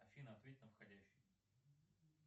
афина ответь на входящий